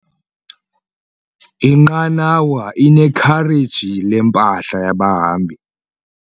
Inqanawa inekhareji lempahla yabahambi.